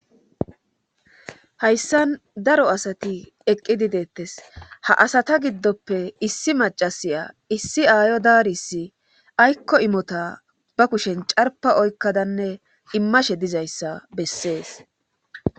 Hayssan daro asati eqqidi deetes ha asat giddoppe issi maccasiya issi aayo daarissi aykko imota ba kushen carppa oykkadanne immashe dizayssa bessee